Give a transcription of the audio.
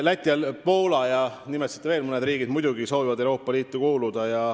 Läti, Poola ja veel mõned riigid, mida te nimetasite, muidugi soovivad Euroopa Liitu kuuluda.